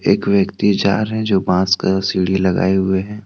एक व्यक्ति जा रहे है जो बास का सीढ़ी लगाए हुए हैं।